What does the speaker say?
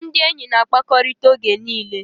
Ndị enyi na-akpakọrịta oge niile